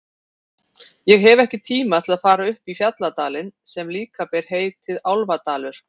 Ég hef ekki tíma til að fara upp í fjalladalinn sem líka ber heitið Álfadalur.